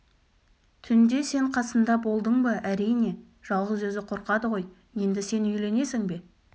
түнде сен қасында болдың ба әрине жалғыз өзі қорқады ғой енді сен үйленесің бе